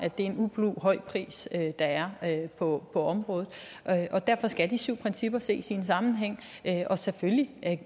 er en ublu høj pris der er på området og derfor skal de syv principper ses i en sammenhæng selvfølgelig